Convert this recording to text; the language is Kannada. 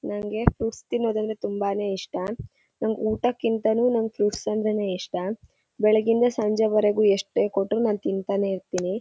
ನಂಗೆ ಫುಟ್ಸ್ ತಿನ್ನೋದ್ ಅಂದರೆ ತುಂಬಾನೇ ಇಷ್ಟ. ನಂಗೆ ಊಟಕಿಂತನೂ ನಂಗೆ ಫ್ರುಇಟ್ಸ್ ಅಂದ್ರೇನೆ ಇಷ್ಟ. ಬೆಳ್ಳಿಗ್ಗೆ ಯಿಂದ ಸಂಜೆ ವರೆಗೂ ಎಷ್ಟೇ ಕೊಟ್ರು ನಾನ್ ತಿಂತಾನೆ ಇರ್ತೀನಿ.